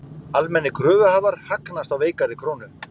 Almennir kröfuhafar hagnast á veikari krónu